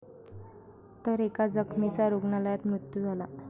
तर एका जखमीचा रुग्णालयात मृत्यू झाला.